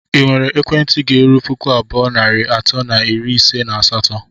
ị nwere ekwentị ga-erụ pụkụ abụọ nari atọ na iri ise na asatọ?